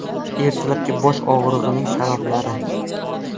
Ertalabki bosh og‘rig‘ining sabablari.